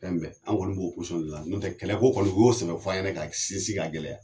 Fɛnbɛ an kɔni b'o posɔn de la yan n'o tɛ kɛlɛ ko kɔni o y'o sɛbɛ fɔ yɛnɛ ka sinsin ka gɛlɛya